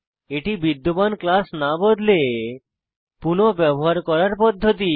এটি বিদ্যমান ক্লাস না বদলে পুনঃ ব্যবহার করার পদ্ধতি